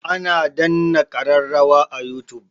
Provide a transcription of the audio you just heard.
Ana danna kararrawa a youtube.